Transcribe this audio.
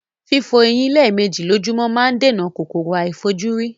Fífo eyín lémèji lójómó ma n dènà kòkòrò àífojúrí